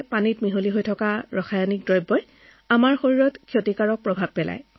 তদুপৰি এই ক্ষতিকাৰক ৰাসায়নিক পদাৰ্থবোৰ আমাৰ পানীত মিহলি হৈ আমাৰ শৰীৰৰ ক্ষতিসাধন কৰি আছে